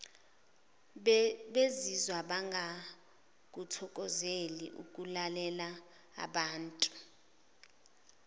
bezizwa bengakuthokozeli ukulalelaabantu